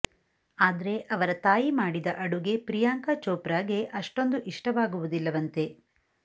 ಆದ್ರೆ ಅವರ ತಾಯಿ ಮಾಡಿದ ಅಡುಗೆ ಪ್ರಿಯಾಂಕಾ ಚೋಪ್ರಾ ಗೆ ಅಷ್ಟೊಂದು ಇಷ್ಟವಾಗುವುದಿಲ್ಲವಂತೆ